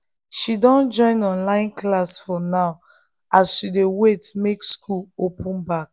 she don join online class for now as she dey wait make school open back.